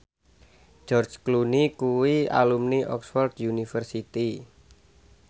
George Clooney kuwi alumni Oxford university